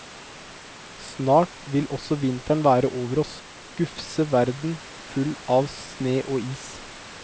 Snart vil også vinteren være over oss, gufse verden full av sne og is.